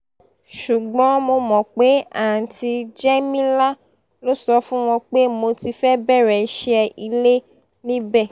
ṣùgbọ́n mo mọ̀ pé àùntì jẹ́mílà ló sọ fún wọn pé mo ti fẹ́ẹ́ bẹ̀rẹ̀ iṣẹ́ ilé níbẹ̀